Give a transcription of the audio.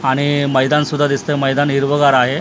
आणि मैदान सुद्धा दिसतंय मैदान हिरवंगार आहे आ--